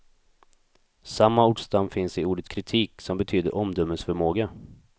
Samma ordstam finns i ordet kritik, som betyder omdömesförmåga.